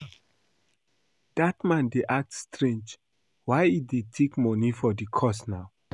Dat man dey act strange. Why he dey take money for the course now?